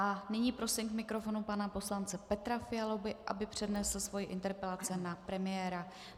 A nyní prosím k mikrofonu pana poslance Petra Fialu, aby přednesl svoji interpelaci na premiéra.